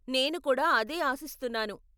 నేను కూడా అదే ఆశిస్తున్నాను.